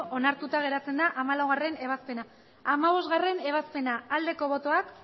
onartuta geratzen da hamalaugarrena ebazpena hamabostgarrena ebazpena aldeko botoak